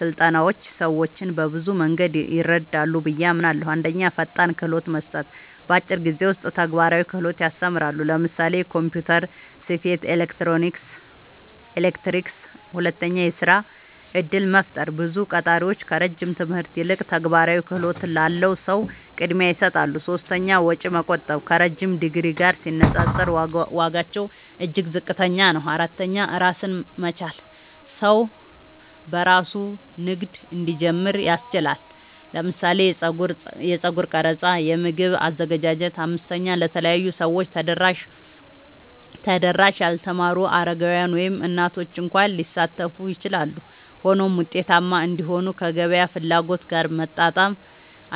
ስልጠናዎች ሰዎችን በብዙ መንገድ ይረዳሉ ብዬ አምናለሁ፦ 1. ፈጣን ክህሎት መስጠት – በአጭር ጊዜ ውስጥ ተግባራዊ ክህሎት ያስተምራሉ (ለምሳሌ ኮምፒውተር፣ ስፌት፣ ኤሌክትሪክ)። 2. የሥራ እድል መፍጠር – ብዙ ቀጣሪዎች ከረጅም ትምህርት ይልቅ ተግባራዊ ክህሎት ላለው ሰው ቅድሚያ ይሰጣሉ። 3. ወጪ መቆጠብ – ከረዥም ዲግሪ ጋር ሲነጻጸር ዋጋቸው እጅግ ዝቅተኛ ነው። 4. ራስን መቻል – ሰው በራሱ ንግድ እንዲጀምር ያስችላል (ለምሳሌ የጸጉር ቀረጻ፣ የምግብ አዘገጃጀት)። 5. ለተለያዩ ሰዎች ተደራሽ – ያልተማሩ፣ አረጋውያን፣ ወይም እናቶች እንኳ ሊሳተፉ ይችላሉ። ሆኖም ውጤታማ እንዲሆኑ ከገበያ ፍላጎት ጋር መጣጣም